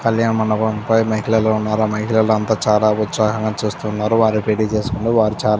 కళ్యాణ మండపం పై మహిళలు ఉన్నారు. ఆ మహిళలందరూ చాలా ఉత్సాహంగా ఉన్నారు. వారు పెళ్లి చేసుకున్నారు. వారు చాలా --